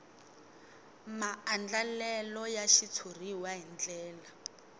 maandlalelo ya xitshuriwa hi ndlela